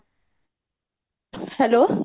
hello